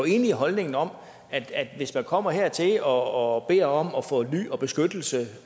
enig i holdningen om at hvis man kommer hertil og beder om at få ly og beskyttelse